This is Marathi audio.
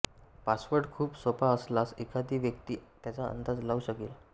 पासवर्ड खूप सोपा असल्यास एखादी व्यक्ती त्याचा अंदाज लावू शकेल